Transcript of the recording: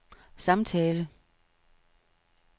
samtale